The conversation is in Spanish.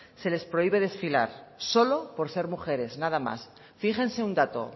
se les prohíbe desfilar solo por ser mujeres nada más fíjense un dato